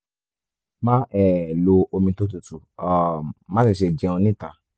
máa um lo omi tó tutù um má sì ṣe jẹun níta